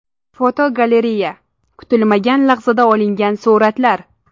Fotogalereya: Kutilmagan lahzada olingan suratlar.